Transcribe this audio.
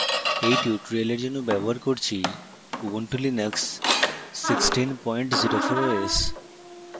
এই tutorial জন্য ব্যবহার করছি ubuntu linux 1604 os